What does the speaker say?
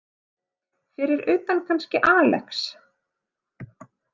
Fyrir utan kannski Alex.